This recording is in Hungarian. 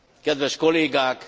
Kedves kollégák!